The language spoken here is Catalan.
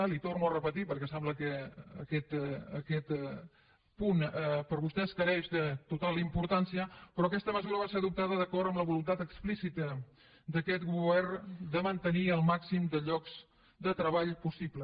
li ho torno a repetir perquè sembla que aquest punt per vostès està mancat de total importància però aquesta mesura va ser adoptada d’acord amb la voluntat explícita d’aquest govern de mantenir el màxim de llocs de treball possibles